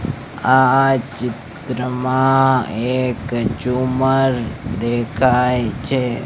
આ ચિત્રમાં એક ઝુમ્મર દેખાય છે.